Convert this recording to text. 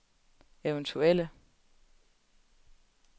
eventuelle